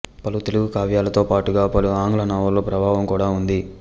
పలు తెలుగు కావ్యాలతో పాటుగా పలు ఆంగ్ల నవలల ప్రభావం కూడా ఉంది